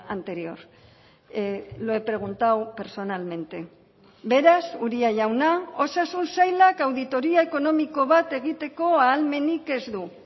anterior lo he preguntado personalmente beraz uria jauna osasun sailak auditoria ekonomiko bat egiteko ahalmenik ez du